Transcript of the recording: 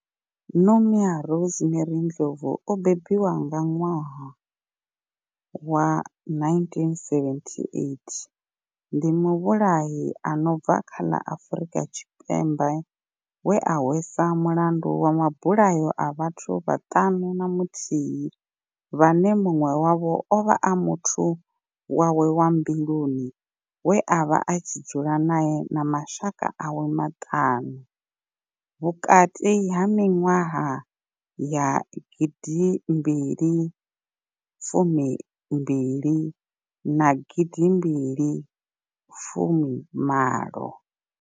Nomia Rosemary Ndlovu o bebiwaho nga 1978 ndi muvhulahi a no bva kha ḽa Afurika Tshipembe we a hweswa mulandu wa mabulayo a vhathu vhaṱanu na muthihi vhane munwe wavho ovha a muthu wawe wa mbiluni we avha a tshi dzula nae na mashaka awe maṱanu vhukati ha minwaha ya gidimbili fumi mbili na gidimbili fumi malo.